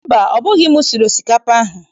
Mba, ọ bụghị m siri osikapa a?